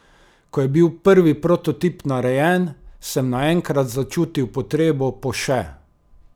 Ko je bil prvi prototip narejen, sem naenkrat začutil potrebo po še.